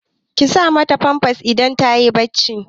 Ki sa ma ta famfas idan ta yi barci!